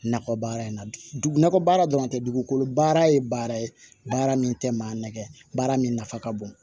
Nakɔ baara in na dugu nakɔ baara dɔrɔn tɛ dugukolo baara ye baara ye baara min tɛ maa nɛgɛ baara min nafa ka bon